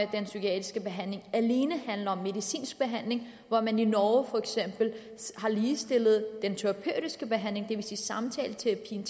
den psykiatriske behandling alene handler om medicinsk behandling hvor man i norge for eksempel har ligestillet den terapeutiske behandling det vil sige samtaleterapien